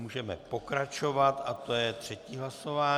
Můžeme pokračovat a to je třetí hlasování.